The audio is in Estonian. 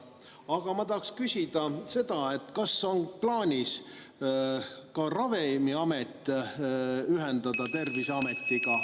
Aga ma tahaksin küsida, kas on plaanis tulevikus Ravimiamet ühendada Terviseametiga.